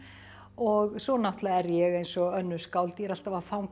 og svo náttúrulega er ég eins og önnur skáld ég er alltaf að fanga